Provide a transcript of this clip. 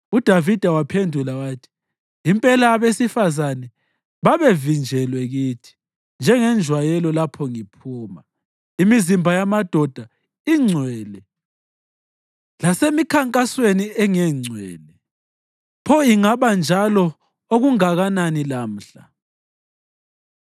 UDavida waphendula wathi, “Impela abesifazane babevinjelwe kithi, njengenjwayelo lapho ngiphuma. Imizimba yamadoda ingcwele lasemikhankasweni engengcwele. Pho ingaba njalo okungakanani lamhla!”